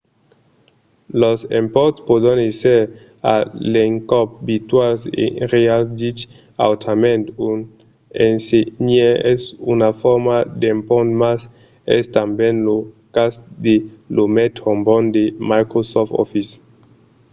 los emponts pòdon èsser a l'encòp virtuals e reals dich autrament un ensenhaire es una forma d'empont mas es tanben lo cas de l'òme trombòn de microsoft office